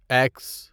x